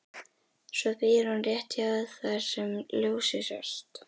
Svo býr hún rétt hjá þar sem ljósið sást.